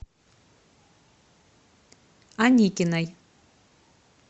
аникиной